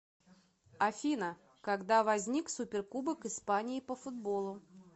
афина когда возник суперкубок испании по футболу